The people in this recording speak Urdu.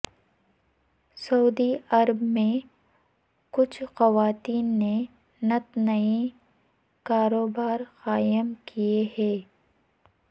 سعودی عرب میں کچھ خواتین نے نت نئے کاروبار قائم کیے ہیں